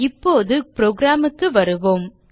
இப்போது programக்கு வருவோம்